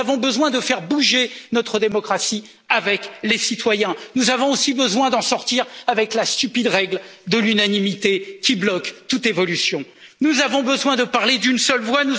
l'Europe. Nous avons besoin de faire bouger notre démocratie avec les citoyens. Nous avons aussi besoin d'en finir avec la stupide règle de l'unanimité qui bloque toute évolution. Nous avons besoin de parler d'une